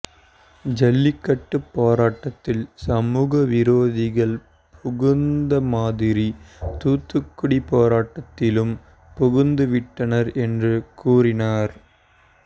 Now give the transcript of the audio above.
ஜல்லிக்கட்டு போராட்டத்தில் சமூக விரோதிகள் புகுந்த மாதிரி தூத்துக்குடி போராட்டத்திலும் புகுந்துவிட்டனர் என்று கூறினார்